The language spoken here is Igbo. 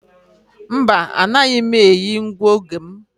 Mba, anaghị m eyi ngụoge m.